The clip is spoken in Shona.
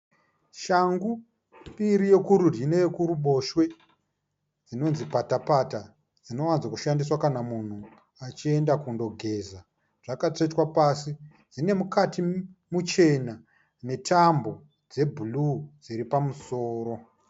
Shangu mbiri, yekurudyi neyekuruboshwe dzinonzi patapata. Dzinowanza kushandiswa kana munhu achiyenda kundogeza, dzakatsvetwa pasi dzine mukati muchena netambo dze bhuruu dziri pamusoro.